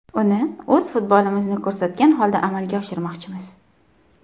Uni o‘z futbolimizni ko‘rsatgan holda amalga oshirmoqchimiz.